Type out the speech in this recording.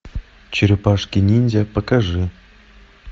черепашки ниндзя покажи